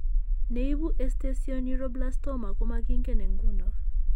Ne ibu esthesioneuroblastoma ko making'en eng' ng'uno.